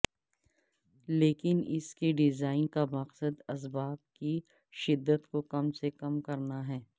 لیکن ان کے ڈیزائن کا مقصد اسباب کی شدت کو کم سے کم کرنا ہے